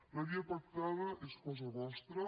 la via pactada és cosa vostra